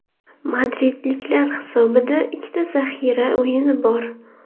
Madridliklar hisobida ikkita zaxira o‘yini bor.